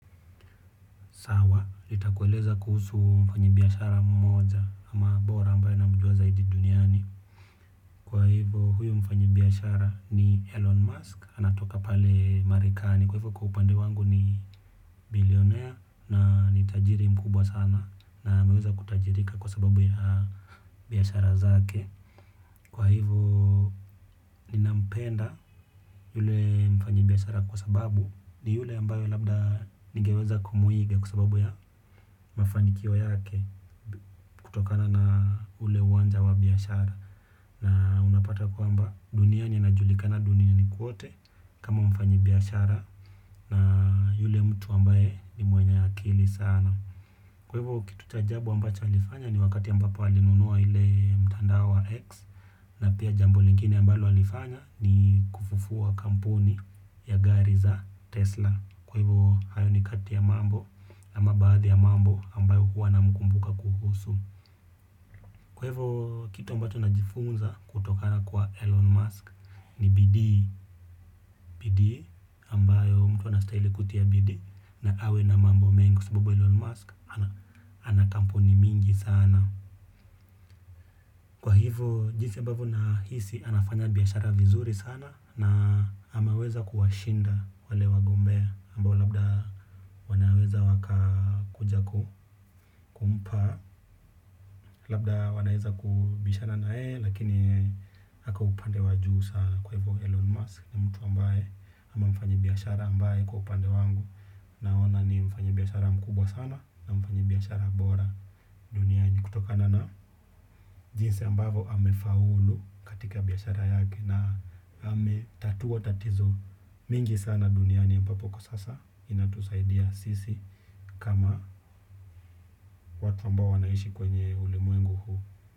Sawa nitakueleza kuhusu mfanyibiashara mmoja ama bora ambaye namjua zaidi duniani kwa hivyo huyu mfanyibiashara ni Elon Musk anatoka pale Marekani kwa hivyo kwa upande wangu ni bilionaire na ni tajiri mkubwa sana na ameweza kutajirika kwa sababu ya biashara zake kwa hivyo ninampenda yule mfanyibiashara kwa sababu ni yule ambaye labda ningeweza kumuiga kwa sababu ya mafanikio yake kutokana na ule uwanja wa biashara na unapata kwamba duniani anajulikana duniani kwote. Kama mfanyibiashara na yule mtu ambaye ni mwenye akili sana. Kwa hivyo kitu cha ajabu ambacho alifanya ni wakati ambapo alinunua ile mtandao wa X na pia jambo lingine ambalo alifanya ni kufufua kampuni ya gari za Tesla. Kwa hivyo hayo ni kati ya mambo ama baadhi ya mambo ambayo huwa namkumbuka kuhusu kwa hivyo, kitu ambacho najifunza kutokana kwa Elon Musk ni bidii bidii ambayo mtu anastahili kutia bidii na awe na mambo mengi kwa sababu Elon Musk ana ana kampuni mingi sana. Kwa hivyo, jinsi ambavyo nahisi anafanya biashara vizuri sana na ameweza kuwashinda wale wagombea ambao labda wanaweza wakakuja kumpa. Labda wanaweza kubishana na yeye lakini ako upande wa juu sana kwa hivyo Elon Musk ni mtu ambaye ama mfanyibiashara ambaye kwa upande wangu. Naona ni mfanyibiashara mkubwa sana na mfanyibiashara bora duniaini kutokana na. Jinsi ambavyo amefaulu katika biashara yake na ametatua tatizo mingi sana duniani ambapo kwa sasa inatusaidia sisi kama watu ambao wanaishi kwenye ulimwengu huu.